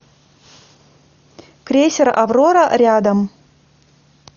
крейсер аврора рядом